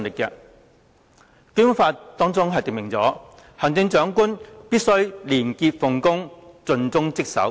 《基本法》訂明，行政長官必須"廉潔奉公、盡忠職守"。